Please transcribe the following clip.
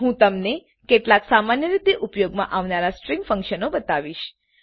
હું તમને કેટલાક સામાન્ય રીતે ઉપયોગમાં આવનારા સ્ટ્રીંગ ફંકશનો બતાવીશ